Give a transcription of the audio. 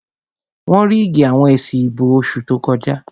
Wọ́n ríìgì àwọn èsì ìbò oṣù tó kọjá